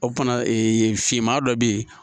O fana finman dɔ bɛ yen